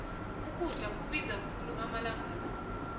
ukudla kubiza khulu amalanga